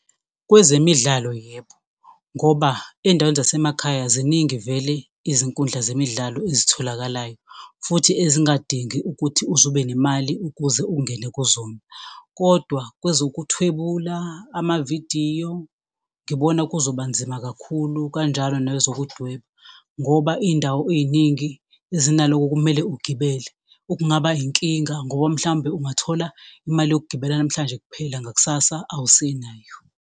Kwezemidlalo yebo, ngoba ezindaweni zasemakhaya ziningi vele izinkundla zemidlalo ezitholakalayo futhi ezingadingi ukuthi uzube nemali ukuze ungena kuzona, kodwa kwezokuthwebula, amavidiyo, ngibona kuzobanzima kakhulu kanjalo nezokudweba, ngoba izindawo eziningi zinaloko kumele ugibele, okungaba inkinga ngoba mhlawumbe ungathola imali yokugibela namhlanje kuphela ngakusasa awusenayo.